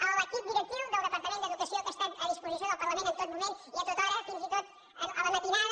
a l’equip directiu del departament d’educació que ha estat a disposició del parlament en tot moment i a tota hora fins i tot a la matinada